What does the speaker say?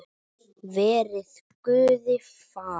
Verið Guði falin.